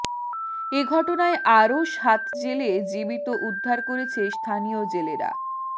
এ ঘটনায় আরও সাত জেলে জীবিত উদ্ধার করেছে স্থানীয় জেলেরা